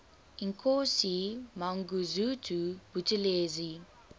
inkosi mangosuthu buthelezi